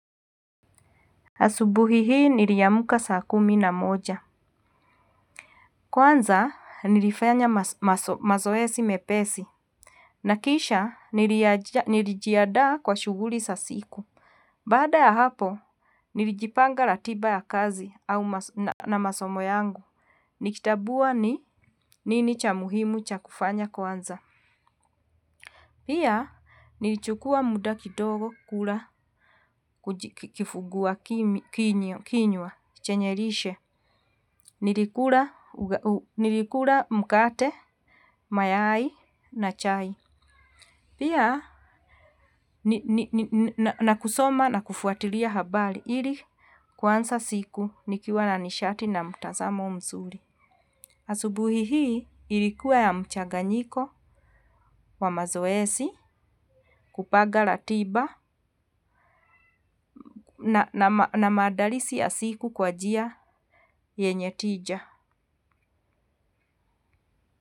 Asubuhi hii niliamka saa kumi na moja. Kwanza nilifanya mazoezi mepesi. Naokisha nilijiandaa kwa shughuli za siku. Baada ya hapo nilijipanga ratiba ya kazi na masomo yangu. Nikitambua ni nini cha muhimu cha kufanya kwanza. Pia nilichukua muda kidogo kula kifungua kinywa kinywa chenye lishe. Nilikula mkate, mayai na chai. Pia na kusoma na kufuatilia habari ili kuanza siku nikiwa na nishati na mtazamo mzuri. Asubuhi hii ilikuwa ya mchaganyiko wa mazoezi. Kupanga ratiba na maandalizi ya siku kwa njia yenye tija.